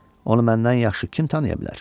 Onu məndən yaxşı kim tanıya bilər?